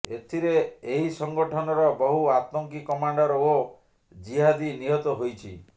ଏଥିରେ ଏହି ସଂଗଠନର ବହୁ ଆତଙ୍କୀ କମାଣ୍ଡର ଓ ଜିହାଦୀ ନିହତ ହୋଇଛି